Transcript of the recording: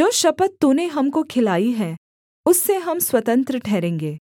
जो शपथ तूने हमको खिलाई है उससे हम स्वतंत्र ठहरेंगे